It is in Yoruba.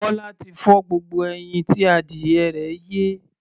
Bọ́lá ti fọ́ gbogbo ẹyin tí adìyẹ rẹ̀ yé.